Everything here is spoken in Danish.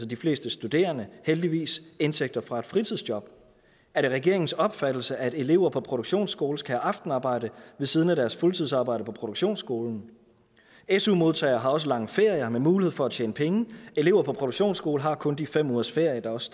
de fleste studerende heldigvis indtægter fra et fritidsjob er det regeringens opfattelse at elever på produktionsskole skal have aftenarbejde ved siden af deres fuldtidsarbejde på produktionsskolen su modtagere har også lange ferier med mulighed for at tjene penge elever på produktionsskoler har kun de fem ugers ferie der også